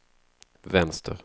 vänster